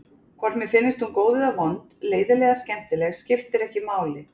Hvort mér finnst hún góð eða vond, leiðinleg eða skemmtileg skiptir ekki máli.